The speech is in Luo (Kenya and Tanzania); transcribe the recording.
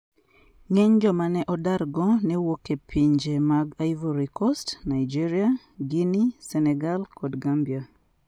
Ng'eny joma ne odargo ne wuok e pinje mag Ivory Coast, Nigeria, Guinea, Senegal, kod Gambia.